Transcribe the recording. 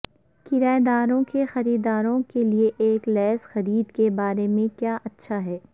کرایہ داروں کے خریداروں کے لئے ایک لییز خرید کے بارے میں کیا اچھا ہے